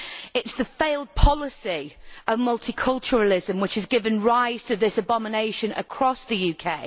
It is the failed policy of multiculturalism which has given rise to this abomination across the UK.